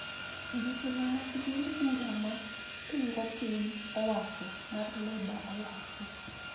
Jotelo mag duond bura ma pingo piny owacho mar Labour owacho